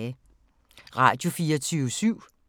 Radio24syv